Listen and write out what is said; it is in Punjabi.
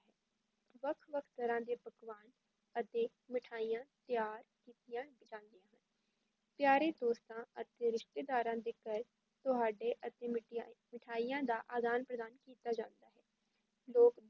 ਵੱਖ-ਵੱਖ ਤਰ੍ਹਾਂ ਦੇ ਪਕਵਾਨ ਅਤੇ ਮਠਿਆਈਆਂ ਤਿਆਰ ਕੀਤੀਆਂ ਜਾਂਦੀਆਂ ਹਨ, ਪਿਆਰੇ ਦੋਸਤਾਂ ਅਤੇ ਰਿਸ਼ਤੇਦਾਰਾਂ ਦੇ ਘਰ ਤੁਹਾਡੇ ਅਤੇ ਮਠਿਆਈ~ ਮਿਠਾਈਆਂ ਦਾ ਆਦਾਨ-ਪ੍ਰਦਾਨ ਕੀਤਾ ਜਾਂਦਾ ਹੈ, ਲੋਕ